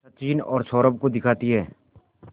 सचिन और सौरभ को दिखाती है